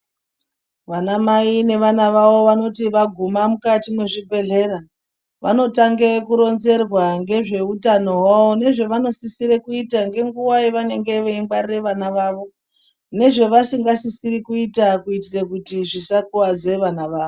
Vanamai nevana vavo vanoti vaguma mukati mezvibhedhlera vanotange kuronzererwa ngezveutano wavo nezvevanosisire kuita ngenguwa yevanenge veingwarire vana vavo nezvavasingasisiri kuita kuitire kuti zvisakuwadze vana vavo.